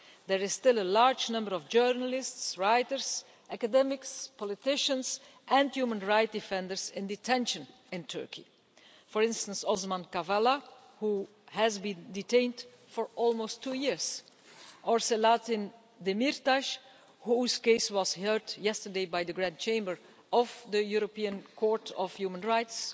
There are still a large number of journalists, writers, academics, politicians and human rights defenders in detention in Turkey, for instance, Osman Kavala, who has been detained for almost two years, or Selahattin Demirtaş whose case was heard yesterday by the Grand Chamber of the European Court of Human Rights.